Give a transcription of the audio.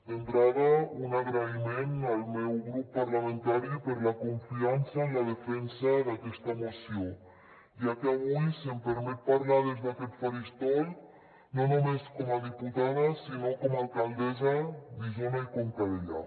d’entrada un agraïment al meu grup parlamentari per la confiança en la defensa d’aquesta moció ja que avui se’m permet parlar des d’aquest faristol no només com a diputada sinó com a alcaldessa d’isona i conca dellà